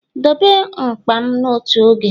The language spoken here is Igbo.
dobe mkpa m n'otu oge!